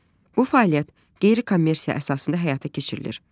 Bu fəaliyyət qeyri-kommersiya əsasında həyata keçirilir